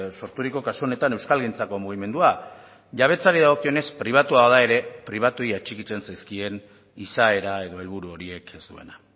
sorturiko kasu honetan euskalgintzako mugimendua jabetzari dagokionez pribatua da ere pribatuei atxikitzen zaizkien izaera edo helburu horiek ez duena